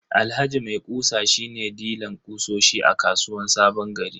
Alhaji maikusa shi ne dilan kutsosi a kasuwan sabongari.